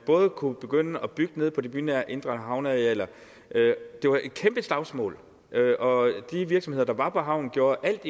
kunne begynde at bygge nede på de bynære indre havnearealer det var et kæmpe slagsmål og de virksomheder der var på havnen gjorde alt